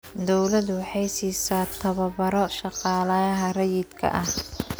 Dawladdu waxay siisaa tababaro shaqaalaha rayidka ah.